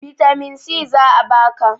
bitamin si za a baka